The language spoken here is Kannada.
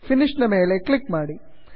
finishನ ಮೇಲೆ ಕ್ಲಿಕ್ ಮಾಡಿ